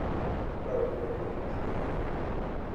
Ka wang`iyo piny mar Kenya,